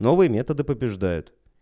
новые методы побеждают